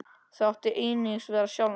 Það áttu einungis við sjálfan þig.